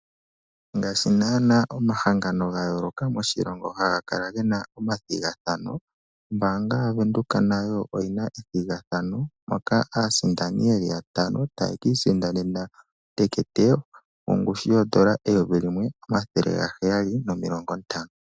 Ngaashi nana omahangano gayooloka moshilongo haga kala gena omathigathano. Ombaanga yaVenduka nayo oyina ethigathano moka aasindani yeli yatano tayaki isindanena uukalata wongushu yoondola N$ 1,750.